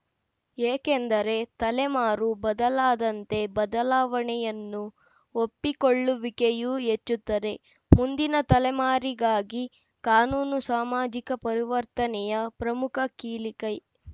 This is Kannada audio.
ಏಕೆಂದರೆ ತಲೆಮಾರು ಬದಲಾದಂತೆ ಬದಲಾವಣೆಯನ್ನು ಒಪ್ಪಿಕೊಳ್ಳುವಿಕೆಯೂ ಹೆಚ್ಚುತ್ತದೆ ಮುಂದಿನ ತಲೆಮಾರಿಗಾಗಿ ಕಾನೂನು ಸಾಮಾಜಿಕ ಪರಿವರ್ತನೆಯ ಪ್ರಮುಖ ಕೀಲಿಕೈ